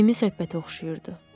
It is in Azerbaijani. Səmimi söhbətə oxşayırdı.